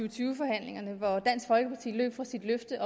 og tyve forhandlingerne hvor dansk folkeparti løb fra sit løfte